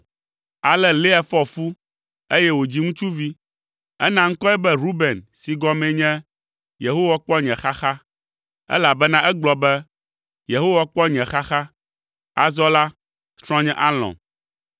Ale Lea fɔ fu, eye wòdzi ŋutsuvi. Ena ŋkɔe be Ruben si gɔmee nye “Yehowa kpɔ nye xaxa,” elabena egblɔ be, “Yehowa kpɔ nye xaxa; azɔ la, srɔ̃nye alɔ̃m.”